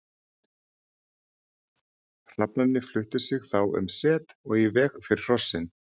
Hrafnarnir fluttu sig þá um set og í veg fyrir hrossin.